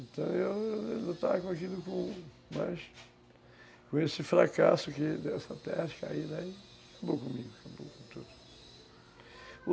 Então, eu eu lutava com aquilo, mas... com esse fracasso dessa terra, caí daí, acabou comigo, acabou com tudo.